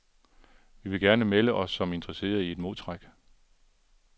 Vi vil gerne melde os som interesserede i et modtræk.